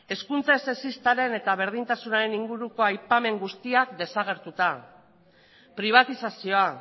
hezkuntza sexistaren eta berdintasunaren inguruko aipamen guztiak desagertuta pribatizazioa